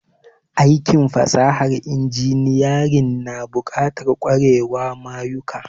Aikin fasahan inginiyarin na bukatan kwarewa mayuka